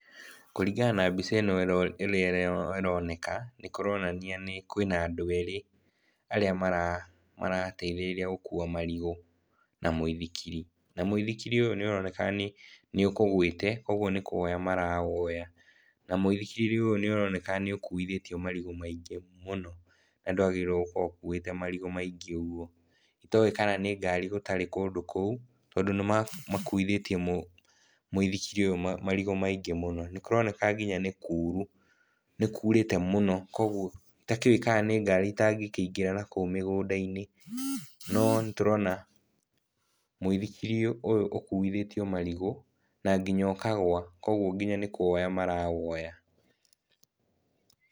Kũringana na mbica ĩno ũrĩa ĩroneka nĩ kuronania nĩ kũrĩ na andũ erĩ arĩa marateithĩrĩria gũkua marigũ na mũithikiri. Na mũithikiri ũyũ nĩũroneka nĩũkũgwĩte nĩkũwoya marawoya. Na mũithikiri ũyũ nĩũroneka nĩ ũkuithĩtio marigũ maingĩ mũno na ndwagĩrĩirwo gũkorwo ũkuĩte marigũ maingĩ ũguo. Itoĩ kana nĩ ngari gũtarĩ kũndũ kũu tondũ nĩmakuithĩtie mũithikiri ũyũ marigũ maingĩ mũno. Nĩkuroneka nginya nĩ kuru nĩkurĩte mũno koguo itakĩũe kana nĩ ngari itangĩkĩingĩra na kũu mĩgũnda-inĩ. No nĩtũrona mũithikiri ũyũ ũkuithĩtio marigũ na nginya ũkagwa koguo nginya nĩ kũwoya marawoya.